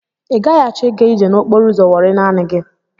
I gaghị achọ i ga ije n'okporo ụzọ Wọri naanị gị.